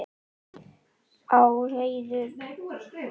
Á heiður.